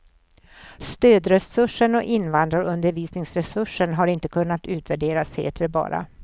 Stödresursen och invandrarundervisningsresursen har inte kunnat utvärderas, heter det bara.